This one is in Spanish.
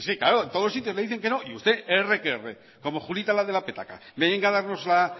que claro en todos los sitios le dicen que no y usted erre que erre como julita la de la petaca venga a darnos